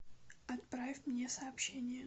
отправь мне сообщение